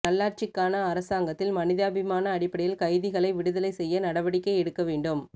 நல்லாட்சிக்கானஅரசாங்கத்தில் மனிதாபிமான அடிப்படையில் கைதிகளை விடுதலை செய்ய நடவடிக்கை எடுக்க வேண்டும்